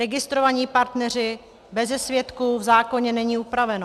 Registrovaní partneři beze svědků, v zákoně není upraveno.